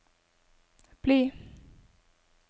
bli